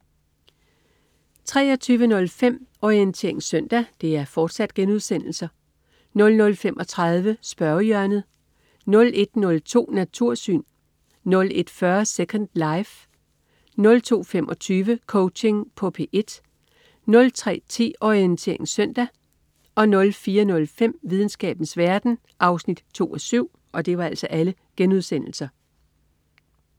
23.05 Orientering søndag* 00.35 Spørgehjørnet* 01.02 Natursyn* 01.40 Second life* 02.25 Coaching på P1* 03.10 Orientering søndag* 04.05 Videnskabens verden 2:7*